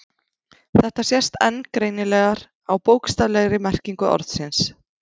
Þetta sést enn greinilegar á bókstaflegri merkingu orðsins.